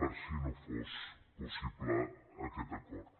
per si no fos possible aquest acord